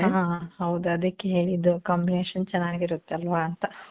ಆ, ಹಾ. ಹೌದು. ಅದಕ್ಕೆ ಹೇಳಿದ್ದು combination ಚನಾಗಿರುತ್ತಲ್ವ ಅಂತ?